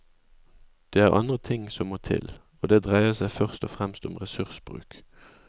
Det er andre ting som må til, og det dreier seg først og fremst om ressursbruk.